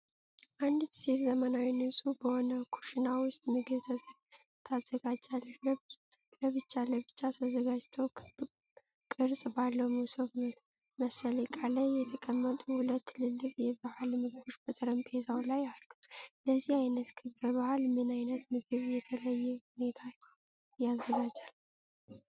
አንዲት ሴት ዘመናዊና ንጹሕ በሆነ ኩሽና ውስጥ ምግብ ታዘጋጃለች። ለብቻ ለብቻ ተዘጋጅተው ክብ ቅርጽ ባለው መሶብ መሰል ዕቃ ላይ የተቀመጡ ሁለት ትላልቅ የበዓል ምግቦች በጠረጴዛው ላይ አሉ። ለዚህ አይነት ክብረ በዓል ምን አይነት ምግብ በተለየ ሁኔታ ይዘጋጃል?